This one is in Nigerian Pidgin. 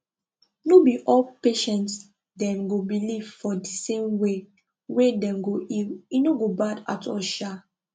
no be all patients dem go believe for di same way wey dem go heal e no go bad at all sha